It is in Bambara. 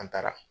An taara